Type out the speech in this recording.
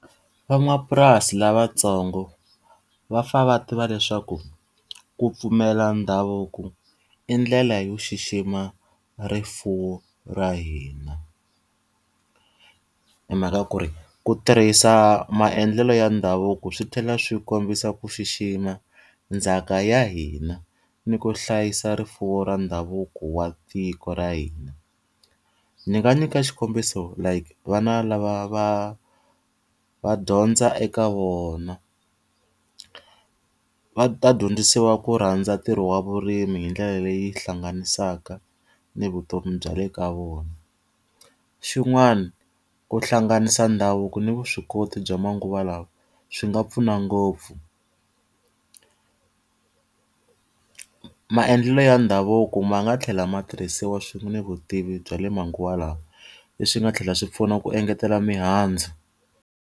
Van'wamapurasi lavatsongo va fanele va tiva leswaku ku pfumela ndhavuko i ndlela yo xixima rifuwo ra hina. Hi mhaka ku ri ku tirhisa maendlelo ya ndhavuko swi tlhela swi kombisa ku xixima ndzhaka ya hina ni ku hlayisa rifuwo ra ndhavuko wa tiko ra hina. Ndzi nga nyika xikombiso like vana lava va va dyondza eka vona, va ta dyondzisiwa ku rhandza ntirho wa vurimi hi ndlela leyi hlanganisaka ni vutomi bya le ka vona. Xin'wani ku hlanganisa ndhavuko ni vuswikoti bya manguva lawa swi nga pfuna ngopfu. Maendlelo ya ndhavuko ma nga tlhela ma tirhisiwa swin'we ni vutivi bya le manguva lawa, leswi nga tlhela swi pfuna ku engetela mihandzu.